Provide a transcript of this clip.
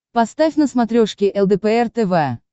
поставь на смотрешке лдпр тв